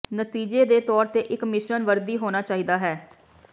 ਨਤੀਜੇ ਦੇ ਤੌਰ ਤੇ ਇੱਕ ਮਿਸ਼ਰਣ ਵਰਦੀ ਹੋਣਾ ਚਾਹੀਦਾ ਹੈ